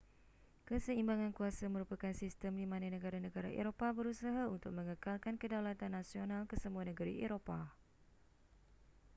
keseimbangan kuasa merupakan sistem di mana negara-negara eropah berusaha untuk mengekalkan kedaulatan nasional kesemua negeri eropah